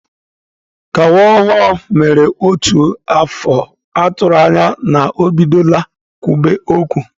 Ka nwa ọhụrụ mere otu afọ, atụrụ anya na o bidola kwube okwu.